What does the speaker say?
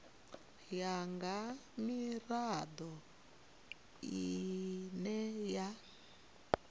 ya nga mirado ine ya